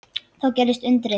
Þá gerðist undrið.